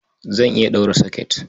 Zan iya ɗaura soket.